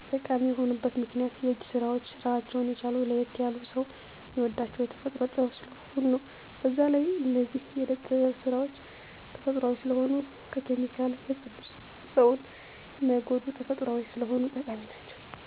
ጠቃሚ የሆኑበት ምክንያት የእጅ ስራዎች ራሳቸውን የቻሉ ለየት ያሉ ሰው ሚወዳቸው የተፈጥሮ ጥበብ ስለሆኑ ነው። በዛ ላይ እነዚህ የእደ ጥብ ስራዎች ተፈጥሮአዊ ስለሆኑ ከኬሚካል የፀዱ ሰውን ማይጎዱ ተፈጥሮአዊ ስለሆኑ ጠቃሚ ናቸው።